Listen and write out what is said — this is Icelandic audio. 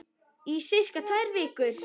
Í sirka tvær vikur.